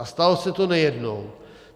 A stalo se to nejednou.